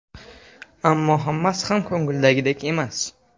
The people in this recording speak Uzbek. Ammo hammasi ham ko‘ngildagidek emas.